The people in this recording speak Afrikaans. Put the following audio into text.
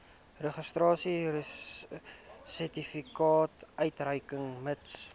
registrasiesertifikaat uitreik mits